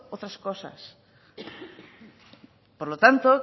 otras cosas por lo tanto